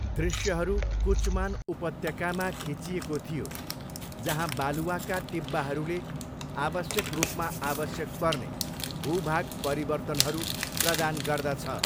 दृश्यहरू कुचमान उपत्यकामा खिचिएको थियो. जहाँ बालुवाका टिब्बाहरूले आवश्यक रूपमा आवश्यक पर्ने भूभाग परिवर्तनहरू प्रदान गर्दछ।